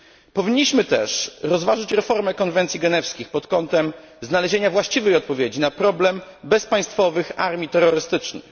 Powinniśmy też rozważyć reformę Konwencji Genewskich pod kątem znalezienia właściwej odpowiedzi na problem bezpaństwowych armii terrorystycznych.